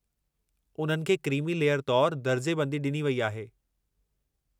उन्हनि खे creamy layer तौरु दर्जेबंदी डि॒नी वई आहे।